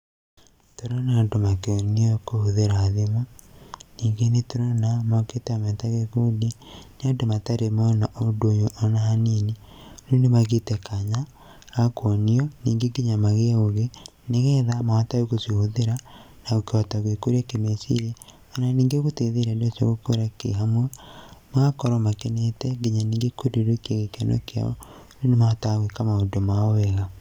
Tũrona andũ makĩonio kũhuthĩra thimũ, ningĩ nĩ tũrona mokĩte me ta gĩkundi. Nĩ andũ matarĩ mona ũndũ ũyũ o na hanini, rĩu ni magĩte kanya gakuonio ningĩ nginya magĩe ũgĩ nĩgetha mahote gũcihũthĩra na kũhota gwĩkũria kĩmeciria na o na ningĩ gũteithia andũ acio gũkũra kĩhamwe, magakorwo makenete nginya ningĩ kũrirũkia gĩkeno kĩao rĩu nĩ mahotaga gwĩka maũndũ mao wega.